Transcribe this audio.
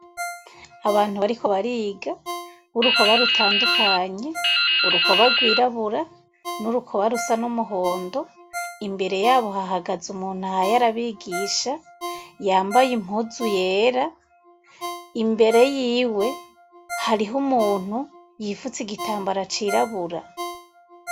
Abantu bariko bariga burukoba rutandukanye, urukoba rwirabura n'urukoba rusa n'umuhondo, imbere yabo hahagaze umuntu ahaye arabigisha yambaye impuzu yera ,imbere yiwe harih'umuntu yipfutse igitambara cirabura.